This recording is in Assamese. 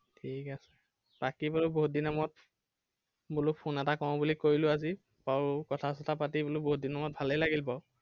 ঠিক আছে, বাকী বোলো বহুত দিনৰ মুৰত বোলো phone এটা কৰো বুলি কৰিলো আজি। বাৰু কথা-চথা পাতি বোলো বহুত দিনৰ মুৰত ভালে লাগিল বাৰু।